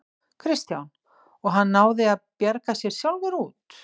Kristján: Og hann náði að bjarga sér sjálfur út?